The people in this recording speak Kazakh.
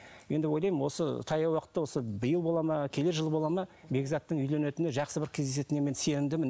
енді ойлаймын осы таяу уақытта осы биыл болады ма келер жылы болады ма бекзаттың үйленетініне жақсы бір кездесетініне мен сенімдімін